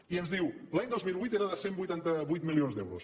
i ens diu l’any dos mil vuit era de cent i vuitanta vuit milions d’euros